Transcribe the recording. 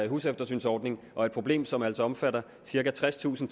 huseftersynsordning og et problem som altså omfatter cirka tredstusind